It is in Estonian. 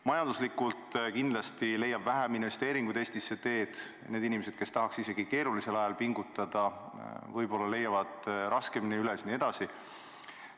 Majanduslikult leiab kindlasti vähem investeeringuid Eestisse tee, need inimesed, kes tahaks isegi keerulisel ajal pingutada, võib-olla leiavad selle raskemini üles jne.